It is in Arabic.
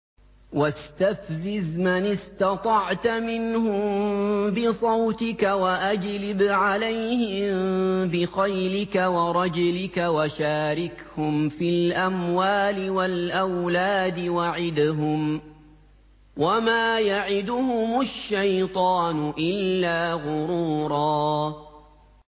وَاسْتَفْزِزْ مَنِ اسْتَطَعْتَ مِنْهُم بِصَوْتِكَ وَأَجْلِبْ عَلَيْهِم بِخَيْلِكَ وَرَجِلِكَ وَشَارِكْهُمْ فِي الْأَمْوَالِ وَالْأَوْلَادِ وَعِدْهُمْ ۚ وَمَا يَعِدُهُمُ الشَّيْطَانُ إِلَّا غُرُورًا